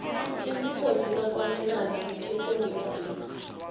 ubukhosi bakwamanola buphethwe ngumabhena